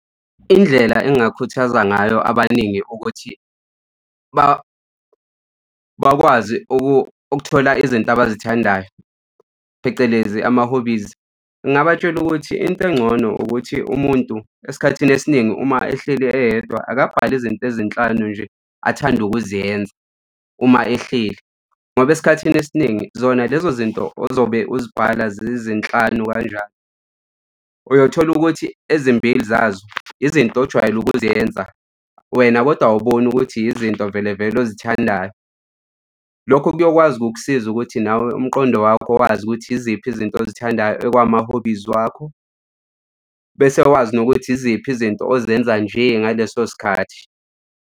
Indlela engakhuthaza ngayo abaningi ukuthi bakwazi ukuthola izinto abazithandayo, phecelezi ama-hobbies. Ngingabatshela ukuthi into engcono ukuthi umuntu, esikhathini esiningi, uma ehleli eyedwa akabhale izinto ezinhlanu nje, athanda ukuziyenza uma ehleli. Ngoba esikhathini esiningi zona lezo zinto ozobe uzibhala zizinhlanu kanjani, uyothola ukuthi ezimbili zazo izinto ojwayele ukuzenza wena kodwa awuboni ukuthi izinto vele vele ozithandayo. Lokho kuyokwazi ukukusiza ukuthi nawe umqondo wakho wazi ukuthi iziphi ozinto ozithandayo okwama-hobbies wakho bese wazi nokuthi yiziphi izinto ozenza nje ngaleso sikhathi.